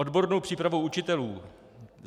Odbornou přípravu učitelů.